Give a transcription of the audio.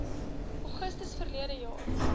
augustus verlede jaar